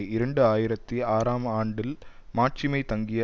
இரண்டு ஆயிரத்தி ஆறாம் ஆண்டில் மாட்சிமை தங்கிய